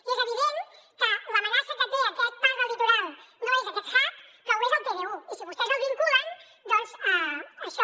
i és evident que l’amenaça que té aquesta part del litoral no és aquest hub però ho és el pdu i si vostès el vinculen doncs això